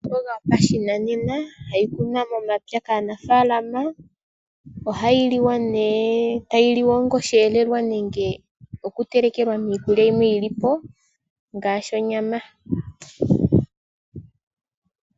Omboga yopashinanena, hayi kunwa momapya kaanafaalama . Ohayi liwa onga osheelelwa, okutelekelwa miikulya yimwe ngaashi onyama .